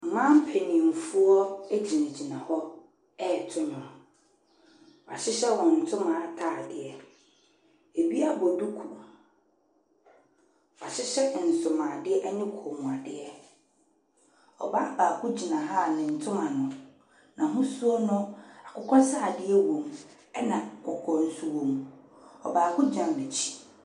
Mmaa mpanimfoɔ gyinagyina hɔ reto nnwom. Wɔahyehyɛ wɔn so atadeɛ. Ɛbi abɔ duku. Wɔahyehyɛ nsomuadeɛ ne kɔnmuadeɛ. Ɔbaa baako gyina ha a ne ntoma no, ahosuo no, akokɔsradeɛ wɔ mu, ɛna kɔkɔɔ nso wɔ mu. Baako gyina n'akyi.